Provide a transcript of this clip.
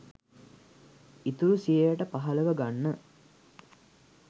ඉතුරු සියයට පහළව ගන්න